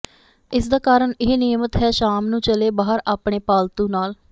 ਇਸ ਦਾ ਕਾਰਨ ਇਹ ਨਿਯਮਤ ਹੈ ਸ਼ਾਮ ਨੂੰ ਚਲੇ ਬਾਹਰ ਆਪਣੇ ਪਾਲਤੂ ਨਾਲ